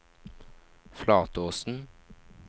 Flatåsen